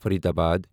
Faridabad